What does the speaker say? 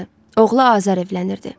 Oğlu Azər evlənirdi.